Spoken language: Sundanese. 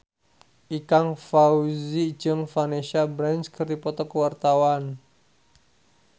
Ikang Fawzi jeung Vanessa Branch keur dipoto ku wartawan